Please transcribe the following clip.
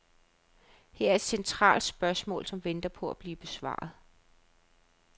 Her er et centralt spørgsmål, som venter på at blive besvaret.